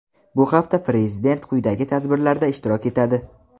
Bu hafta Prezident quyidagi tadbirlarda ishtirok etadi:.